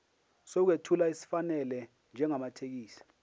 sokwethula esifanele njengamathekisthi